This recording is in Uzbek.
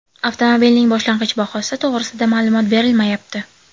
Avtomobilning boshlang‘ich bahosi to‘g‘risida ma’lumot berilmayapti.